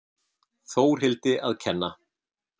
Þórhildi að kenna.